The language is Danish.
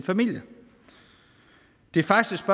familie det er faktisk